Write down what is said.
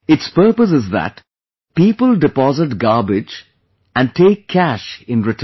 Its purpose is that people deposit garbage and take cash in return